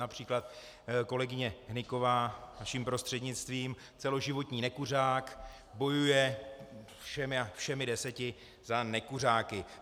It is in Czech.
Například kolegyně Hnyková, vaším prostřednictvím, celoživotní nekuřák, bojuje všemi deseti za nekuřáky.